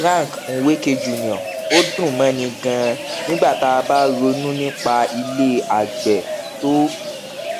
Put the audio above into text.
frank nweke jr ó dùn móni ganan nígbà tá a bá ronú nípa ilè àgbè tó